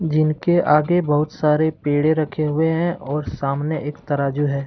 जिनके आगे बहुत सारे पेड़े रखें हुए हैं और सामने एक तराजू है।